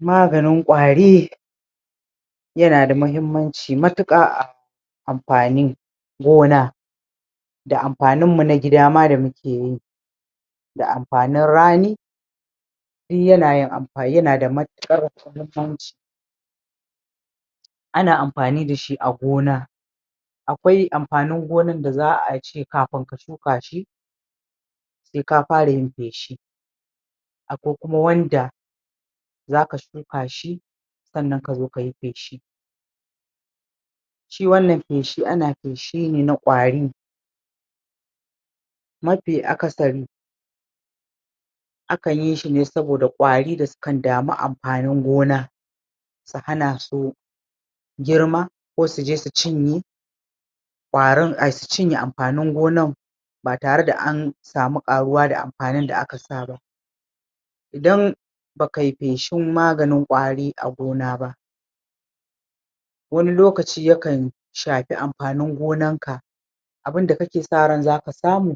maganin ƙwari yana da mahimmanci matuƙa a amfanin gona da amfanin mu nama gida da mukeyi da amfanin rani duk yanayin yana da matuƙar mahimmanci ana amfani dashi a gona akwai amfanin gonar da za'ace kafin ka shukashi sai ka fara yin feshi akwai kuma wanda zaka shukashi sannan kazo kayi feshi shi wannan feshi ana feshine na ƙari mafi akasari akan yishi ne saboda ƙari da sukan damu amfanin gona su hanasu girma ko suje su cinye ƙwarin au su cinye amfanin gonar ba tare da ansamu ƙaruwa da amfanin da aka saba idan bakai feshin maganin ƙari a gona ba wani lokaci yakan shafi amfanin gonarka abunda kake sa ran zaka samu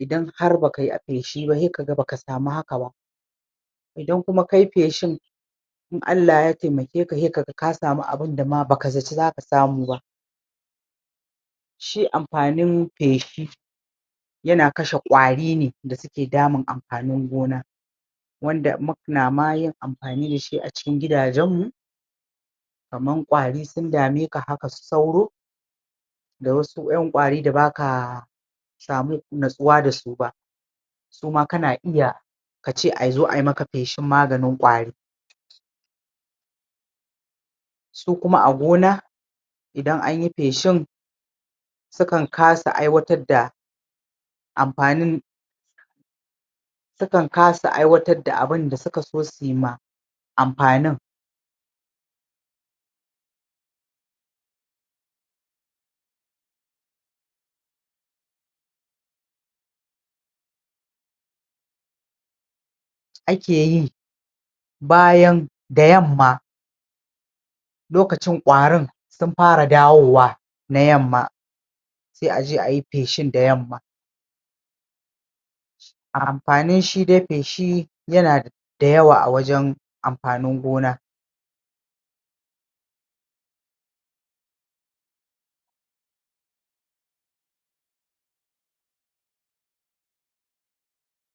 idan har bakai feshi ba sai kaga baka samu haka ba idan kuma kayi feshin sai kaga in Allah ya taimakeka hai kaga kasamu abunda ma baka zaci zaka samu ba shi amfanin feshi yana kashe ƙarine da suke damun amfanin gona wanda ma munayin amfani dashi a cikin gida janmu kamar ƙari sun dameka haka su sauro da wasu ƴan ƙari da basa samu nutsuwa dasu ba suam kana iya kace azo ai maka feshin maganin ƙari su koma a gona idan anyi feshin sukan kasa aiwatar da amfanin sukan kasa aiwatarb da abunda sukaso suyma amfanin akeyi bayan da yamma lokacin ƙarin sun fara dawowa na yamma sai aje ayi feshin da yamma amfanin shi dai feshi yana da yawa a wajan amfanin gona